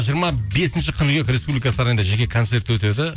жиырма бесінші қыркүйек республика сарайында жеке концерті өтеді